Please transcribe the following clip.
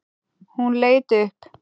Hún leit upp.